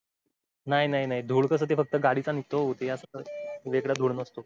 नाय नाय धूर कस ते फक्त गाडीचा निघतो ओ वेगळा धूर नसतो